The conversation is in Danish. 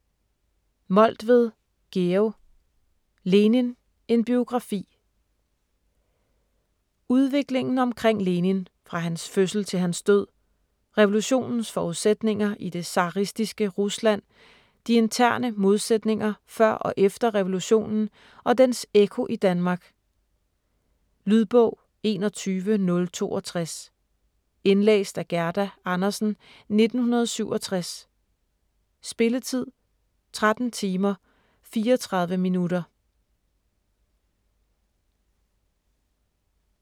Moltved, Georg: Lenin: en biografi Udviklingen omkring Lenin fra hans fødsel til hans død, revolutionens forudsætninger i det zaristiske Rusland, de interne modsætninger før og efter revolutionen og dens ekko i Danmark. Lydbog 21062 Indlæst af Gerda Andersen, 1967. Spilletid: 13 timer, 34 minutter.